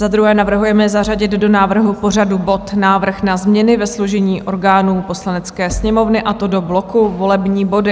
Za druhé navrhujeme zařadit do návrhu pořadu bod Návrh na změny ve složení orgánů Poslanecké sněmovny, a to do bloku Volební body.